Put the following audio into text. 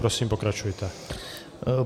Prosím, pokračujte.